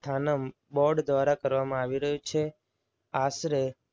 Board દ્વારા કરવામાં આવી રહ્યું છે. આશરે